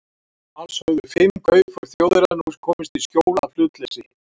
Alls höfðu fimm kaupför Þjóðverja nú komist í skjól af hlutleysi